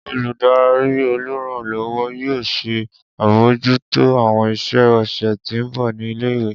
Oludari oluranlọwọ yoo ṣe abojuto awọn iṣẹ ọsẹ ti nbọ ni ile-iwe